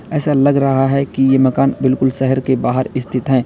ऐसा लग रहा है कि ये मकान बिल्कुल शहर के बाहर स्थित है।